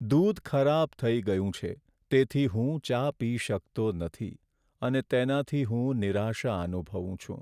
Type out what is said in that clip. દૂધ ખરાબ થઈ ગયું છે તેથી હું ચા પી શકતો નથી અને તેનાથી હું નિરાશા અનુભવું છું.